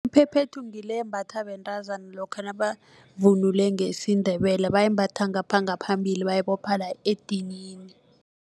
Iphephethu ngile embathwa bentazana lokha nabavunule ngesiNdebele bayimbatha ngaphambili bayibopha la edinini.